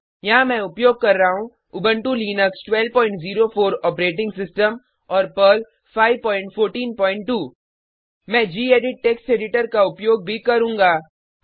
यहाँ मैं उपयोग कर रहा हूँ उबंटू लिनक्स 1204 ऑपरेटिंग सिस्टम और पर्ल 5142 मैं गेडिट टेक्स्ट एडिटर का उपयोग भी करूँगा